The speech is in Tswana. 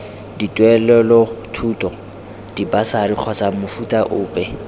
dituelelothuto dibasari kgotsa mofuta ope